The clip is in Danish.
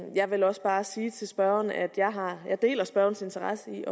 jeg vil også bare sige til spørgeren at jeg deler spørgerens interesse i